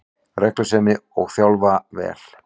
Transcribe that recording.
Reglusemi, og þjálfa vel